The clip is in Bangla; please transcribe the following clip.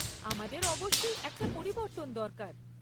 আমাদের অবশ্যই একটা পরিবর্তন দরকার।